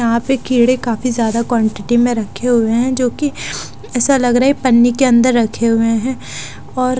यहाँं पे कीड़े काफी ज्यादा क्वानटिटी में रखे हुए है जो कि ऐसा लग रहा है पन्नी के अंदर रखे हुए है और --